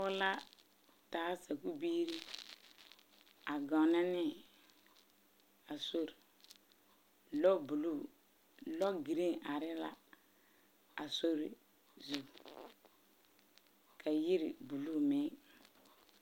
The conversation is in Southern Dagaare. Pɔge la a taa sakubiiri a gaŋna ne a sori lobuluu logeren arɛɛ la a sori zu ka yiri buluu meŋ